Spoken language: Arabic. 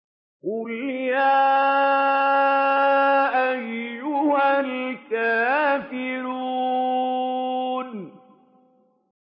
قُلْ يَا أَيُّهَا الْكَافِرُونَ